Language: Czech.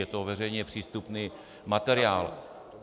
Je to veřejně přístupný materiál.